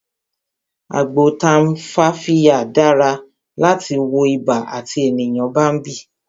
Agbo tumfafiya dára láti fi wọ ibà àti tí ènìyàn bá ń bì